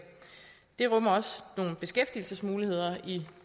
det rummer også nogle beskæftigelsesmuligheder i